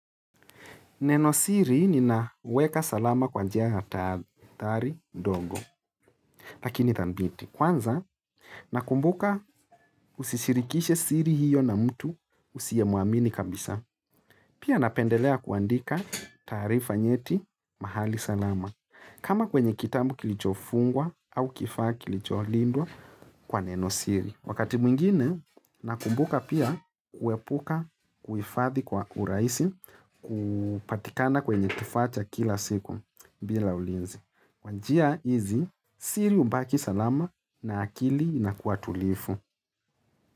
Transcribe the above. Neno siri ni naweka salama kwa njia hatari ndogo, lakini dhabiti. Kwanza, nakumbuka usisirikishe siri hiyo na mtu usiye muamini kabisa. Pia napendelea kuandika taarifa nyeti mahali salama. Kama kwenye kitabu kilichofungwa au kifaa kilicho lindwa kwa neno siri. Wakati mwingine, nakumbuka pia kuepuka kuhifadhi kwa urahisi kupatikana kwenye kifaa cha kila siku bila ulinzi. Kwa njia hizi, siri hubaki salama na akili na kua tulivu.